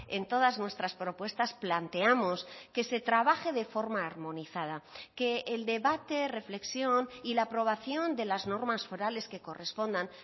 en todas nuestras propuestas planteamos que se trabaje de forma armonizada que el debate reflexión y la aprobación de las normas forales que correspondan